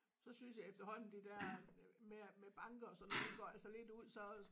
Så synes jeg efterhånden det der med at med banker og sådan det går altså lidt ud så